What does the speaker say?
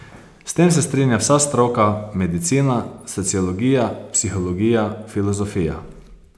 S tem se strinja vsa stroka, medicina, sociologija, psihologija, filozofija.